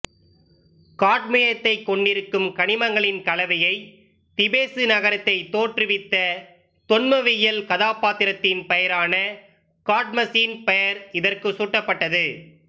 காட்மியத்தைக் கொண்டிருக்கும் கனிமங்களின் கலவையை திபெசு நகரத்தை தோற்றுவித்த தொன்மவியல் கதாபாத்திரத்தின் பெயரான காட்மசின் பெயர் இதற்கு சூட்டப்பட்டது